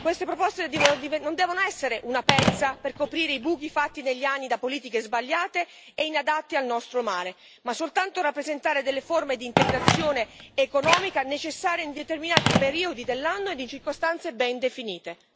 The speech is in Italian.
Queste proposte non devono essere una pezza per coprire i buchi fatti negli anni da politiche sbagliate e inadatte al nostro mare, ma soltanto rappresentare delle forme di integrazione economica necessaria in determinati periodi dell'anno ed in circostanze ben definite.